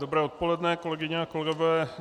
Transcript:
Dobré odpoledne, kolegyně a kolegové.